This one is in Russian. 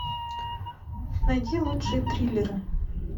найди лучшие триллеры